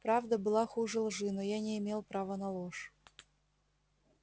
правда была хуже лжи но я не имел права на ложь